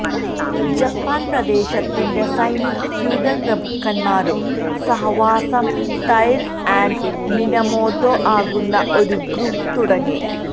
Japan പ്രദേശത്തിന്റെ ന് സൈനിക ഫ്യൂഡൽ പ്രഭുക്കന്മാരും സഹവാസം തൈര ആൻഡ് മിനമൊതൊ ആകുന്നു ഒരു ഗ്രൂപ്പ് തുടങ്ങി